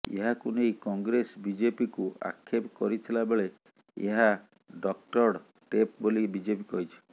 ଏହାକୁ ନେଇ କଂଗ୍ରେସ ବିଜେପିକୁ ଆକ୍ଷେପ କରିଥିଲା ବେଳେ ଏହା ଡକ୍ଟରଡ ଟେପ୍ ବୋଲି ବିଜେପି କହିଛି